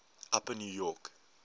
upper new york